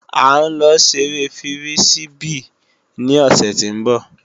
A ń lọ ṣeré fírísíbì ní òsè tí ń bọ̀